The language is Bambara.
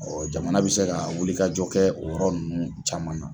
Jamana bɛ se ka wilikajɔ kɛ o yɔrɔ ninnu caman na.